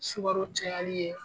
Sukaro cayali ye